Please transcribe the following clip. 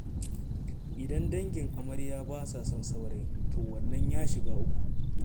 Idan dangin amarya ba sa son saurayin, to wannan ya shiga uku.